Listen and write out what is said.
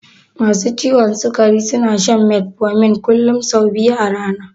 Masu ciwon sikari suna shan metformin kullun sau biyu a rana.